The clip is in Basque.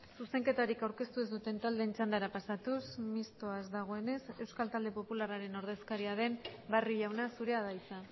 zuzenketarik aurkeztu ez duten taldeen txandara pasatuz mistoa ez dagoenez euskal talde popularraren ordezkaria den barrio jauna zurea da hitza